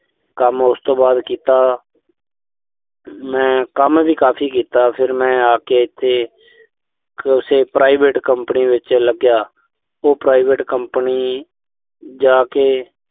ਕੰਮ ਉਸ ਤੋਂ ਬਾਅਦ ਕੀਤਾ ਮੈਂ ਕੰਮ ਵੀ ਕਾਫ਼ੀ ਕੀਤਾ। ਫਿਰ ਮੈਂ ਆ ਕੇ ਇਥੇ, ਕਿਸੇ private company ਵਿੱਚ ਲੱਗਿਆ।